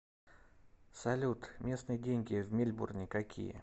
салют местные деньги в мельбурне какие